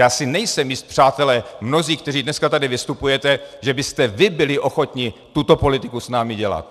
Já si nejsem jist, přátelé, mnozí, kteří dneska tady vystupujete, že byste vy byli ochotni tuto politiku s námi dělat.